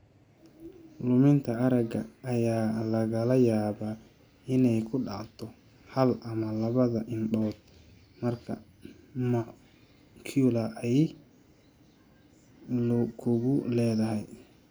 Luminta aragga ayaa laga yaabaa inay ku dhacdo hal ama labada indhood marka macula ay lug ku leedahay.